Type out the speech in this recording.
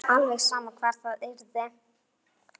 Alveg sama hvar það yrði.